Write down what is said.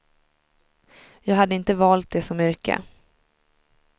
Jag hade inte valt det som yrke.